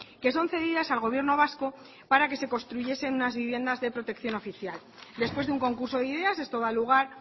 que son cedidas al gobierno vasco para que se construyesen unas viviendas de protección oficial después de un concurso de ideas esto da lugar